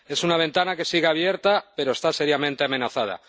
Es una ventana que sigue abierta, pero está seriamente amenazada.